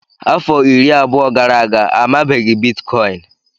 Afọ iri abụọ gara aga, amabeghị Biticoinu.